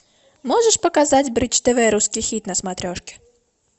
можешь показать бридж тв русский хит на смотрешке